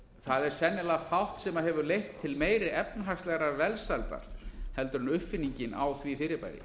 það er sennilega fátt sem hefur leitt til meiri efnahagslegrar velferðar en uppfinningin á því fyrirbæri